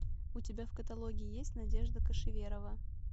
у тебя в каталоге есть надежда кошеверова